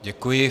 Děkuji.